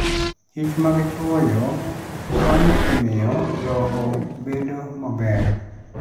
kichmag chwoyo konyo e miyo lowo bedo maber.